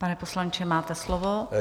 Pane poslanče, máte slovo.